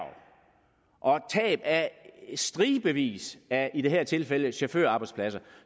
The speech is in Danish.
og tab af stribevis af i det her tilfælde chaufførarbejdspladser